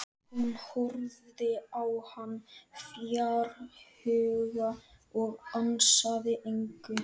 Hún horfði á hann fjarhuga og ansaði engu.